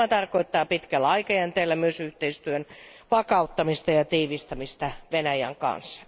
Tämä tarkoittaa pitkällä aikajänteellä myös yhteistyön vakauttamista ja tiivistämistä Venäjän kanssa.